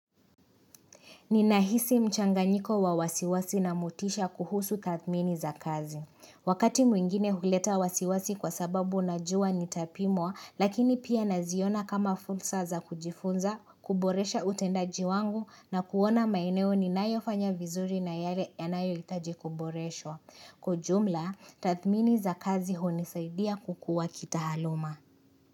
Ninahisi mchanganyiko wa wasiwasi na motisha kuhusu tathmini za kazi. Wakati mwingine huleta wasiwasi kwa sababu najua nitapimwa lakini pia naziona kama fursa za kujifunza, kuboresha utendaji wangu na kuona maeneo ni nayofanya vizuri na yale yanayo hitaji kuboreshwa. Kwaujumla, tathmini za kazi hunisaidia kukua kita aluma.